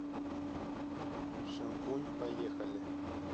шампунь поехали